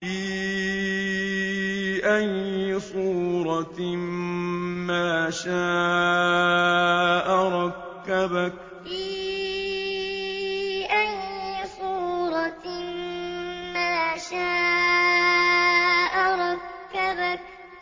فِي أَيِّ صُورَةٍ مَّا شَاءَ رَكَّبَكَ فِي أَيِّ صُورَةٍ مَّا شَاءَ رَكَّبَكَ